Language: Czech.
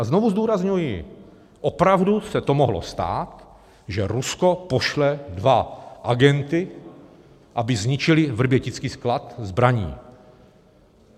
A znovu zdůrazňuji, opravdu se to mohlo stát, že Rusko pošle dva agenty, aby zničili vrbětický sklad zbraní.